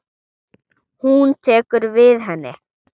Hún tekur við henni.